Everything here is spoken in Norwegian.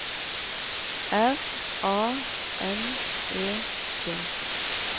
R A N E T